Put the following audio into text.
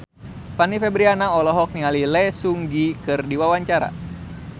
Fanny Fabriana olohok ningali Lee Seung Gi keur diwawancara